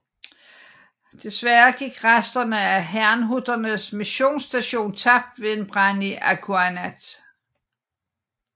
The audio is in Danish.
Desværre gik resterne af Hernhutternes missionsstation tabt ved en brand i Akunnaat